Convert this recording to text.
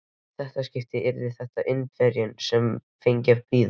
Í þetta skipti yrði það Indverjinn, sem fengi að bíða.